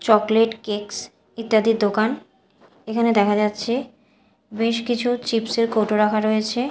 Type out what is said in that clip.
Chocolate cakes ইত্যাদির দোকান এখানে দেখা যাচ্ছে বেশ কিছু চিপস্ এর কৌটো রাখা রয়েছে।